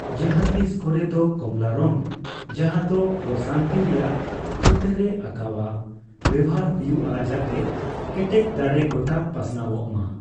ᱡᱟᱦᱟᱸ ᱛᱤᱥ ᱠᱚᱨᱮ ᱫᱚ, ᱠᱚᱢᱚᱞᱟ ᱨᱚᱝ ᱡᱟᱦᱟᱸ ᱫᱚ ᱯᱨᱚᱥᱟᱱᱛᱤ ᱨᱮᱭᱟᱜ ᱪᱤᱛᱟᱹᱨᱮ ᱟᱸᱠᱟᱣᱟ, ᱵᱮᱣᱦᱟᱨ ᱦᱩᱭᱩᱜᱼᱟ ᱡᱟᱛᱮ ᱠᱮᱴᱮᱡ ᱫᱟᱲᱮ ᱜᱚᱴᱟ ᱯᱟᱥᱱᱟᱣᱚᱜᱼᱢᱟ ᱾